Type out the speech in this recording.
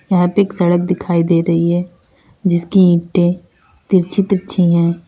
यहां पे एक सड़क दिखाई दे रही है जिसकी ईंटे तिरछी तिरछी है।